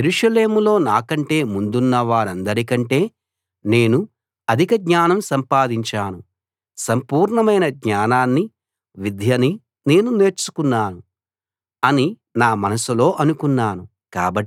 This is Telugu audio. యెరూషలేములో నాకంటే ముందున్న వారందరి కంటే నేను అధిక జ్ఞానం సంపాదించాను సంపూర్ణమైన జ్ఞానాన్నీ విద్యనీ నేను నేర్చుకున్నాను అని నా మనస్సులో అనుకున్నాను